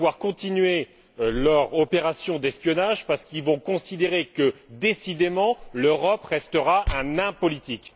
Ils vont pouvoir continuer leur opération d'espionnage, parce qu'ils vont considérer que, décidément, l'Europe restera un nain politique.